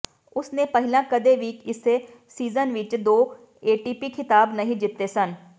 ਉਸਨੇ ਪਹਿਲਾਂ ਕਦੇ ਵੀ ਇਸੇ ਸੀਜ਼ਨ ਵਿੱਚ ਦੋ ਏਟੀਪੀ ਖਿਤਾਬ ਨਹੀਂ ਜਿੱਤੇ ਸਨ